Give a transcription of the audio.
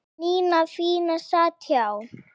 Nína fína sat hjá